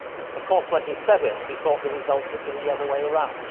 Of course, when he said it he thought the result would be the other way around.